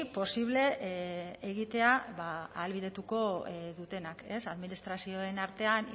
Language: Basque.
posible egitea ahalbidetuko dutenak ez administrazioen artean